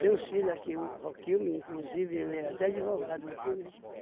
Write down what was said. Tem os filhos aqui, o Roquilme, inclusive, ele é até advogado aqui, né?